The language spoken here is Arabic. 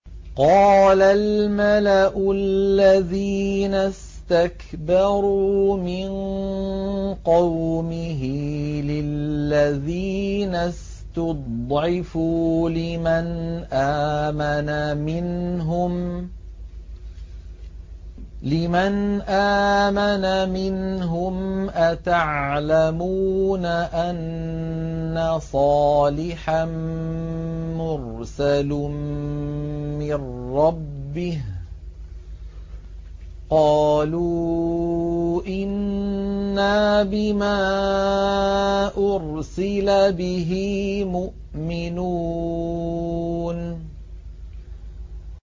قَالَ الْمَلَأُ الَّذِينَ اسْتَكْبَرُوا مِن قَوْمِهِ لِلَّذِينَ اسْتُضْعِفُوا لِمَنْ آمَنَ مِنْهُمْ أَتَعْلَمُونَ أَنَّ صَالِحًا مُّرْسَلٌ مِّن رَّبِّهِ ۚ قَالُوا إِنَّا بِمَا أُرْسِلَ بِهِ مُؤْمِنُونَ